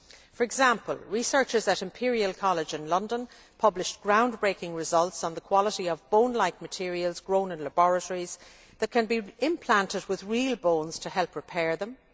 For example, researchers at Imperial College in London published groundbreaking results on the quality of bone like materials grown in laboratories that can be implanted with real bones to help repair them.